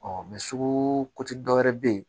sugu dɔ wɛrɛ be yen